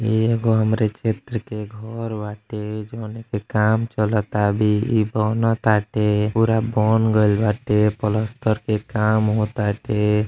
इ एगो हमरे क्षेत्र के घर बाटे जोने के काम चलतावे। इ बनताटे। पूरा बन गइल बाटे। पलस्तर के काम हो ताटे।